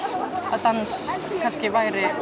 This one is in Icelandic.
að dans kannski væri